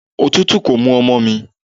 Òtútù kò mú ọmọ mi.